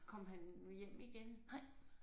Kom han hjem igen?